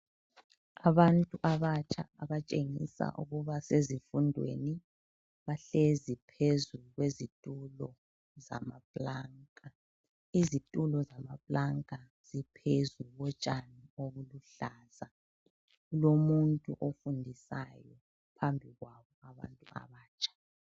Abantu abatsha abatshengisa ukuba sezifundweni bahlezi phezu kwezitulo zamaplanka. Izitulo zamaplanka ziphezu kotshani obuluhlaza. Kulomuntu ofundisayo phambi kwabo abantu abatsha.